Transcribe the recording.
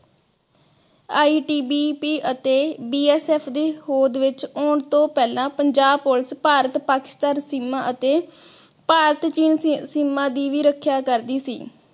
ITBP ਅਤੇ BSF ਦੀ ਹੋਂਦ ਦੀ ਆਉਣ ਤੋਂ ਪਹਿਲਾ ਪੰਜਾਬ police ਭਾਰਤ ਪਾਕਿਸਤਾਨ ਸੀਮਾ ਅਤੇ ਭਾਰਤ ਚੀਨ ਸੀਮਾ ਦੀ ਵੀ ਰੱਖਿਆ ਕਰਦੀ ਸੀ।